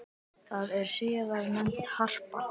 Það var síðar nefnt Harpa.